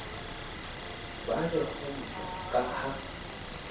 ba le kgutso ka ha